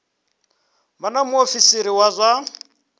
vha na muofisiri wa zwa